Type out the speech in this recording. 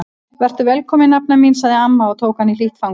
Vertu velkomin nafna mín sagði amma og tók hana í hlýtt fangið.